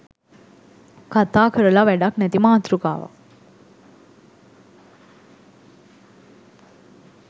කතා කරලා වැඩක් නැති මාතෘකාවක්